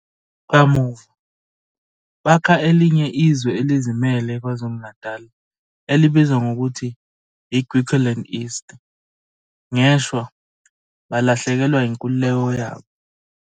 Kamuva, bakha elinye izwe elizimele eKwazulu Natal elibizwa ngokuthi iGriqualand East, ngeshwa balahlekelwa inkululeko yabo